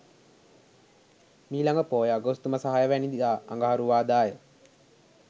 මීළඟ පෝය අගෝස්තු මස 06 වැනිදා අඟහරුවාදාය.